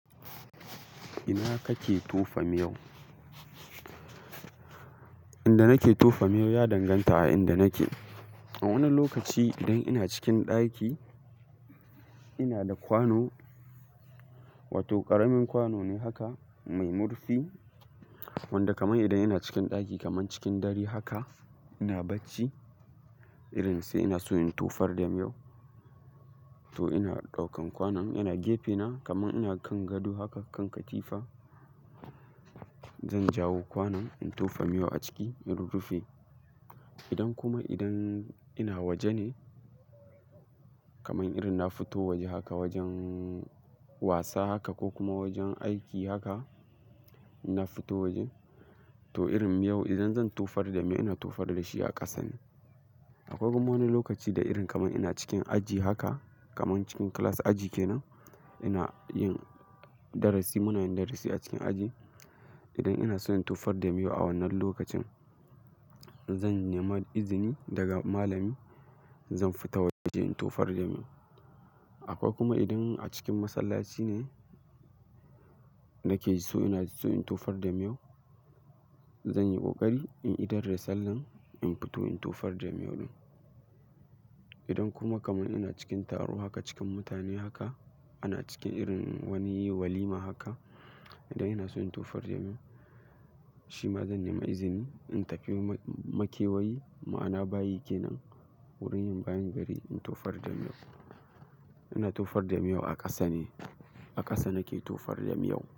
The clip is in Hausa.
Ina kake tofa miyau? Inda nake tofa miyau ya danganta a inda nake. A wani lokaci idan ina cikin ɗaki, ina da kwano, wato ƙaramin kwano ne haka mai murfi wanda kamar idan ina cikin ɗaki kamar cikin dare haka ina bacci, irin sai ina so in tofar da miyo to ina ɗaukan kwanon ina gefe na kamar ina kan gado haka kan katifa. Zan jawo kwanon in tofa miyau a ciki in rurrufe. Idan kuma idan ina waje ne, kamar irin na fito waje haka wajen wasa haka ko kuma wajen aiki haka na fito waje to irin miyau idan zan tofar da me ina tofar da shi a ƙasa ne. Akwai kuma wani lokaci da irin kamar ina cikin aji haka kamar cikin class aji kenan ina yin darasi muna yin darasi a cikin aji. Idan ina son in tofar da miyau a wannan lokacin, zan nema izini daga malami zan fita waje in tofar da miyau. Akwai kuma idan a cikin masallaci ne nake jiso ina jiso in tofar da miyo, zan yi ƙoƙari in idar da sallan in fito in tofar da miyo din. Idan kuma kamar ina cikin taro haka cikin mutane haka, ana cikin wani yi walima haka idan ina so in tofar da miyo, shi ma zan nema izini in tafi makewayi ma'ana bayi kenan wurin yin bayin gari in tofar da miyo. Ina tofar da miyau a ƙasa ne, a ƙasa nake tofar da miyau.